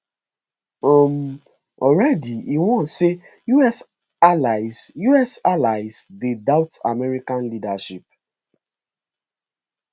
um already e warn say us allies us allies dey doubt american leadership